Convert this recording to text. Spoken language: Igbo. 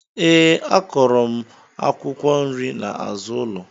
Ee a kọro mụ akwụkwọ nri na azụ ụlọ.